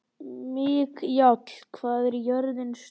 Mikjáll, hvað er jörðin stór?